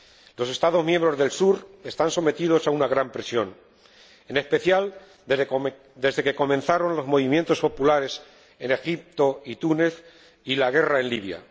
Los Estados miembros del sur están sometidos a una gran presión, en especial, desde que comenzaron los movimientos populares en Egipto y Túnez y la guerra en Libia.